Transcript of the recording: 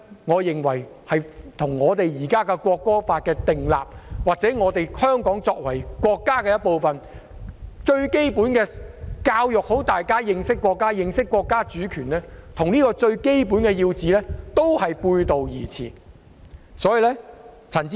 我認為這與我們現時訂立《條例草案》，或香港作為國家的一部分，而教育大家認識國家及國家主權這個最基本的要旨，都是背道而馳。